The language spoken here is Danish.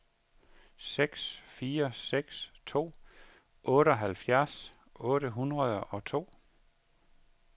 seks fire seks to otteoghalvfjerds otte hundrede og to